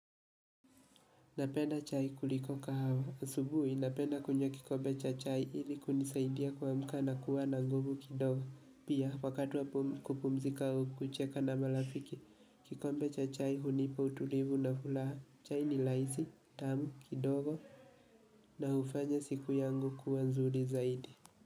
Napenda chai kuliko kahawa. Asubuhi, napenda kunywa kikombe cha chai ili kunisaidia kuamka na kuwa na nguvu kidogo. Pia, wakati wa kupumzika au kucheka na marafiki. Kikombe cha chai, hunipa utulivu na furaha. Chai ni rahisi, tamu, kidogo na hufanya siku yangu kuwa nzuri zaidi.